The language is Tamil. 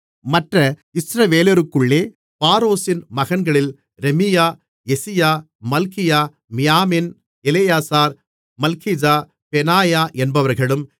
மற்ற இஸ்ரவேலருக்குள்ளே பாரோஷின் மகன்களில் ரமீயா யெசியா மல்கியா மியாமின் எலெயாசார் மல்கிஜா பெனாயா என்பவர்களும்